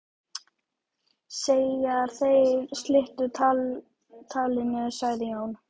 Þegar þeir slitu talinu sagði Jón